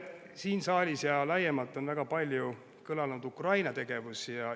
Siin saalis ja laiemalt on väga palju kõlanud Ukraina.